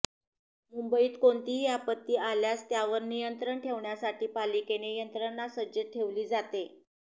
मुंबईत कोणतीही आपत्ती आल्यास त्यावर नियंत्रण ठेवण्यासाठी पालिकेने यंत्रणा सज्ज ठेवली जाते